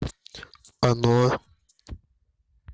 оно